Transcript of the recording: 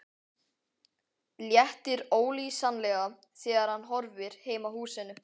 Léttir ólýsanlega þegar hann horfir heim að húsinu.